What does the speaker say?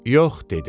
Yox dedim.